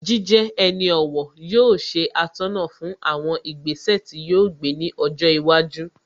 Jíjẹ ẹni ọ̀wọ̀ yóò ṣe atọ́nà fún àwọn ìgbésẹ̀ tí yóò gbé ní ọjọ́ iwájú